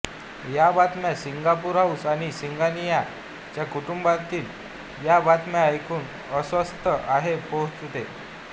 या बातम्या Singapore house आणि सिंगनिया च्या कुटुंबातील या बातम्या ऐकू अस्वस्थ आहे पोहोचते